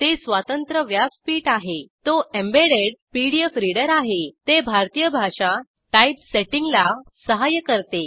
ते स्वतंत्र व्यासपीठ आहे तो एम्बेडेड पीडीएफ रिडर आहे ते भारतीय भाषा टाईपसेटिंगला सहाय्य करते